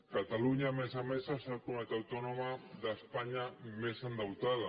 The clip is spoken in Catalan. catalunya a més a més és la comunitat autònoma d’espanya més endeutada